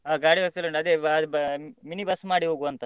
ಆ ಅದೇ ಗಾಡಿ ವ್ಯವಸ್ಥೆ ಎಲ್ಲ ಉಂಟು ಅದೇ ವ~ ಬ~ minibus ಮಾಡಿ ಹೋಗುವ ಅಂತ.